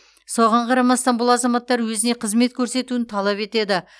соған қарамастан бұл азаматтар өзіне қызмет көрсетуін талап етеді